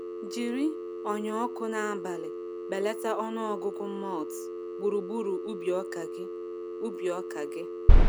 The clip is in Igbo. Jiri ọnyà ọkụ n’abalị belata ọnụ ọgụgụ moths gburugburu ubi ọka gị. ubi ọka gị.